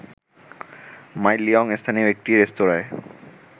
মাই Liyong স্থানীয় একটি রেস্তোরাঁয়